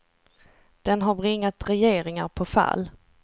Den har bringat regeringar på fall.